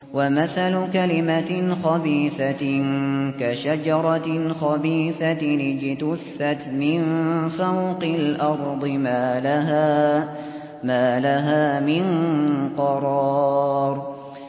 وَمَثَلُ كَلِمَةٍ خَبِيثَةٍ كَشَجَرَةٍ خَبِيثَةٍ اجْتُثَّتْ مِن فَوْقِ الْأَرْضِ مَا لَهَا مِن قَرَارٍ